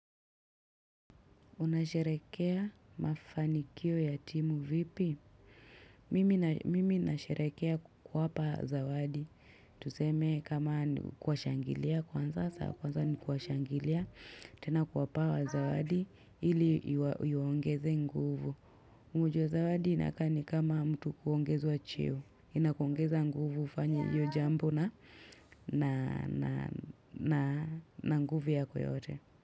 Unasherehekea mafanikio ya timu vipi? Mimi na Mimi nasherehekea kuwapa zawadi. Tuseme kama ni kuwashangilia kwanza, saa kwanza ni kuwashangilia. Tena kuwapa hawa zawadi ili iwaongeze nguvu. Mujo zawadi inakaa ni kama mtu kuongewa chiyo. Inakuongeza nguvu ufanyo yu jambu na na na nguvu ya kwa yote.